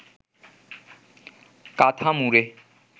কাঁথা মুড়ে